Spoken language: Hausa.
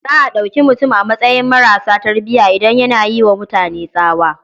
Za a ɗauki mutum a matsayin maras tarbiya idan yana yi wa mutane tsawa.